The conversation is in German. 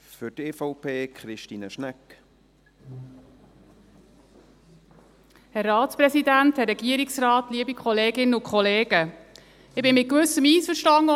Ich bin mit Gewissem, von dem, was meine Vorrednerin gesagt hat, einverstanden.